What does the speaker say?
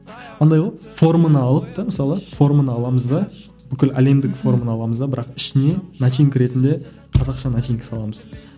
андай ғой форманы алып та мысалы форманы аламыз да бүкіл әлемдік форманы аламыз да бірақ ішіне начинка ретінде қазақша начинка саламыз